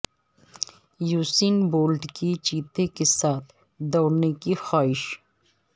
Usain Bolt کی چیتے کے ساتھ دوڑنے کی خواہش